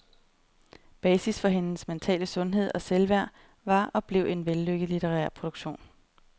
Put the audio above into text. Basis for hendes mentale sundhed og selvværd var og blev en vellykket litterær produktion.